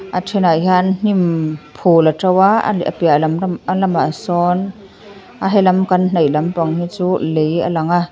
a thenah hian hnim phul a tho a lamah sawn a helam kan hnaih lam pang hi chu lei a lang a.